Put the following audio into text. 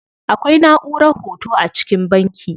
Akwai naʼurar hoto a cikin banki.